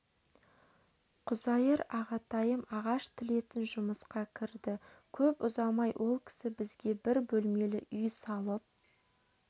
құзайыр ағатайым ағаш тілетін жұмысқа кірді көп ұзамай ол кісі бізге бір бөлмелі үй салып